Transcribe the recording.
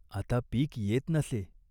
आता पीक येत नसे.